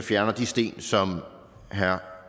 fjerner de sten som herre